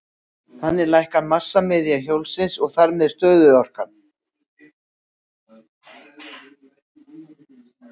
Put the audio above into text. Þannig lækkar massamiðja hjólsins og þar með stöðuorkan.